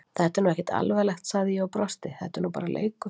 Þetta er nú ekkert alvarlegt, sagði ég og brosti, þetta er nú bara leikur!